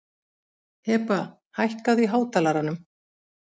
Heba, hækkaðu í hátalaranum.